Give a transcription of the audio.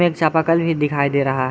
चापाकल भी दिखाई दे रहा है।